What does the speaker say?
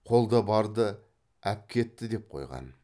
қолда барды әпкетті деп қойған